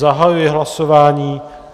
Zahajuji hlasování.